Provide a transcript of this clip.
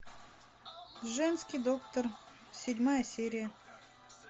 женский доктор седьмая серия